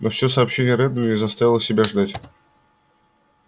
новое сообщение реддла не заставило себя ждать